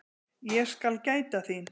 Ég skal gæta þín.